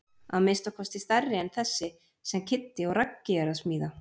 Að minnsta kosti stærri en þessi sem Kiddi og Raggi eru að smíða.